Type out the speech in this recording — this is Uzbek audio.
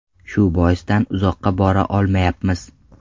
Shu boisdan uzoqqa bora olmayapmiz.